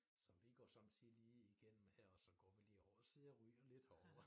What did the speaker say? Så vi går sommetider lige igennem her og så går vi lige over og sidder ryger lidt herovre